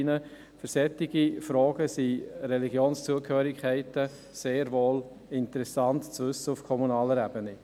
– Im Zusammenhang mit solchen Fragen sind Religionszugehörigkeiten durchaus interessant für die kommunale Ebene.